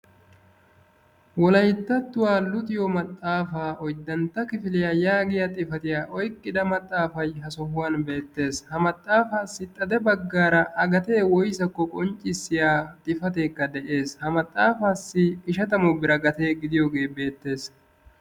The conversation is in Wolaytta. wolayttattuwaa luxiyoo maxaafaa oyddantta kifiliyaa yaagiyaa xifatiyaa oyqqidage ha sohan beettes ha maxaafaassi a gatee woysakko qonccissiyaa xifateekka de'es ha maxxaafaassi ishatamu bira a gatee gidiyoogee beettes.